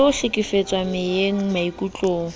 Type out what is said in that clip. le ho hlekefetswa meyeng maikutlong